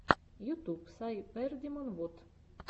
ютуб сайбердимон вот